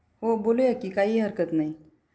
हो बोलूया कि काही हरकत नाही.